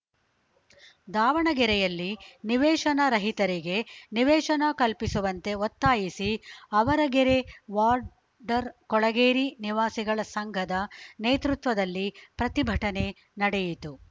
ದಾವಣಗೆರೆಯಲ್ಲಿ ನಿವೇಶನ ರಹಿತರಿಗೆ ನಿವೇಶನ ಕಲ್ಪಿಸುವಂತೆ ಒತ್ತಾಯಿಸಿ ಆವರಗೆರೆ ವಾಡ್ ಡರ್ ಕೊಳಗೇರಿ ನಿವಾಸಿಗಳ ಸಂಘದ ನೇತೃತ್ವದಲ್ಲಿ ಪ್ರತಿಭಟನೆ ನಡೆಯಿತು